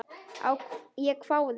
Ég hváði.